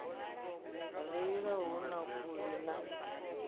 reila hu na khuli na